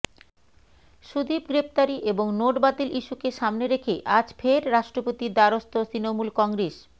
সুদীপ গ্রেফতারি এবং নোট বাতিল ইস্যুকে সামনে রেখে আজ ফের রাষ্ট্রপতির দ্বারস্থ তৃণমূল কংগ্রেস